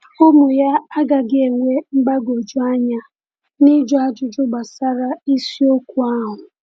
Ụmụ ya agaghị enwe mgbagwoju anya n’ịjụ ajụjụ gbasara isiokwu ahụ.